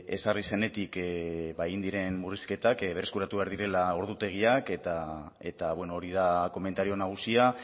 ezarri zenetik egin diren murrizketak berreskuratu egin behar direla ordutegiak eta hori da komentario nagusia